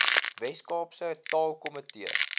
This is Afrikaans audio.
wes kaapse taalkomitee